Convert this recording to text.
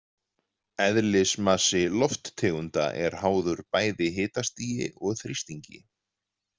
Eðlismassi lofttegunda er háður bæði hitastigi og þrýstingi.